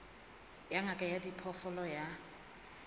ya ngaka ya diphoofolo ya